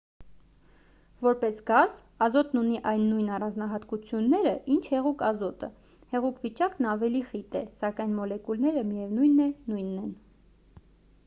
որպես գազ ազոտն ունի այն նույն առանձնահատկությունները ինչ հեղուկ ազոտը հեղուկ վիճակն ավելի խիտ է սակայն մոլեկուլները միևնույն է նույնն են